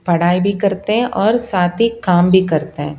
पढ़ाई भी करते हैं और साथ ही काम भी करते हैं।